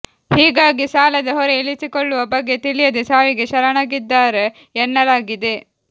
ಹೀಗಾಗಿ ಸಾಲದ ಹೊರೆ ಇಳಿಸಿಕೊಳ್ಳುವ ಬಗೆ ತಿಳಿಯದೆ ಸಾವಿಗೆ ಶರಣಾಗಿದ್ದಾರೆ ಎನ್ನಲಾಗಿದೆ